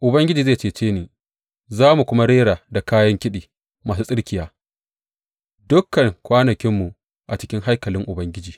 Ubangiji zai cece ni, za mu kuma rera da kayan kiɗi masu tsirkiya dukan kwanakinmu a cikin haikalin Ubangiji.